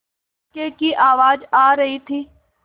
इक्के की आवाज आ रही थी